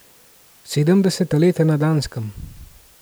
Sedemdeseta leta na Danskem.